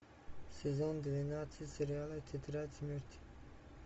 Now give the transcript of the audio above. сезон двенадцать сериала тетрадь смерти